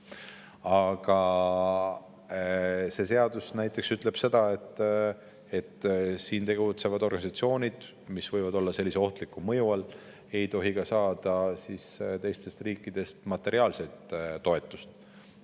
Aga see seadus näiteks ütleb, et siin tegutsevad organisatsioonid, mis võivad olla sellise ohtliku mõju all, ei tohi saada ka teistest riikidest materiaalset toetust.